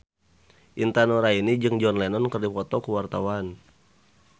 Intan Nuraini jeung John Lennon keur dipoto ku wartawan